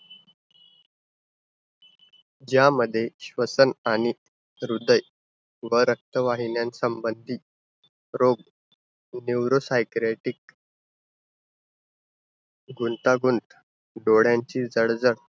यामध्ये श्वसन आणि हृदय व रक्तवाहिन्या संबंधित रोग neuropsychiatrist, गुंतागुंत, डोळ्यांची जळजळ.